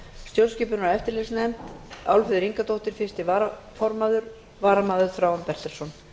stjórnskipunar og eftirlitsnefnd álfheiður ingadóttir fyrsti varaformaður varamaður er þráinn bertelsson